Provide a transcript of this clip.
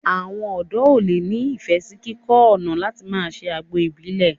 Àwọn ọ̀dọ́ ó le ni ifẹ sì kíkọ́ ọ̀nà láti máa ṣe àgbo Ìbílẹ̀